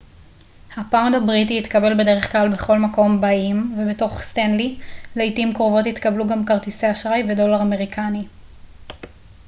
הפאונד הבריטי יתקבל בדרך בכל מקום באיים ובתוך סטנלי לעתים קרובות יתקבלו גם כרטיסי אשראי ודולר אמריקני